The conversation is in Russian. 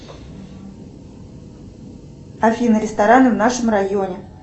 афина рестораны в нашем районе